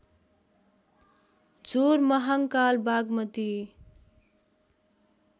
झोर महाङ्काल बागमती